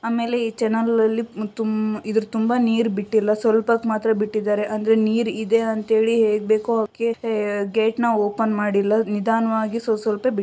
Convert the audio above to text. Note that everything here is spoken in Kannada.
ಆಮೇಲೆ ಈ ಚಾನೆಲ್ ಗಳಲ್ಲಿ ತುಂಬ ಇದ್ರು ತುಂಬಾ ನೀರ್ ಬಿಟ್ಟಿಲ್ಲ ಸ್ವಲ್ಪ ಹೊತ್ತ್ ಮಾತ್ರ ಬಿಟ್ಟಿದ್ದಾರೆ ಅಂದ್ರೆ ನೀರ್ ಇದೆ ಅಂತ ಹೇಳಿ ಹೋಗ್ಬೇಕೋ ಹಾಗೇ ಗೇಟ್ ನ ಓಪನ್ ಮಾಡಿಲ್ಲ ನಿದಾನವಾಗೆ ಸ್ವಲ್ಪ್ ಸ್ವಲ್ಪ್ ಬಿಟ್ಟಿದ್ದಾ --